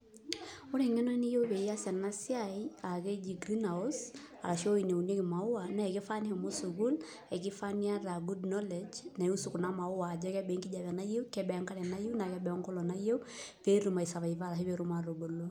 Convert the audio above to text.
Ore engeno niyieu pias enasiai aa keji greenhouse ahu ewueji naunieki maua na kifaa nishomo sukul, kifaa niata good knowledge nirusu kuna maua ajo kebaa enkare niyieu ashu kebaa enkare nayieu ashu keboo enkolong nayieu petum ai serviver meshomoita atubulu.